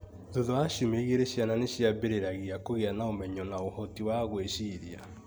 Thutha wa ciumia igĩrĩciana nĩ ciambĩrĩragia kũgĩa na ũmenyo na ũhoti wa gwĩciria.